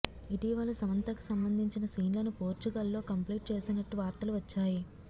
ఇటీవల సమంతకు సంబంధించిన సీన్లను పోర్చుగల్లో కంప్లీట్ చేసినట్టు వార్తలు వచ్చాయి